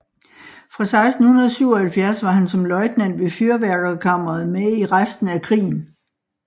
Fra 1677 var han som løjtnant ved Fyrværkerkammeret med i resten af krigen